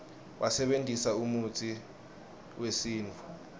basebentisa umutsi uesintfu